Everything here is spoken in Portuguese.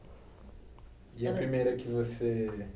E a primeira que você...